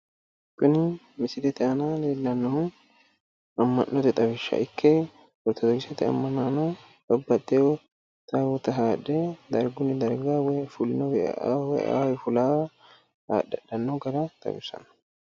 Kuni misilete aana leellannohu amma'note xawishsha ikke ortodoksete ammanaano babbaxxiwo taawoota haadhe dargunni darga fulinowii eaawa woyi eaawii fulaawa haadhe hadhanno gara xawissanno.